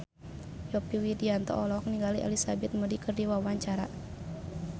Yovie Widianto olohok ningali Elizabeth Moody keur diwawancara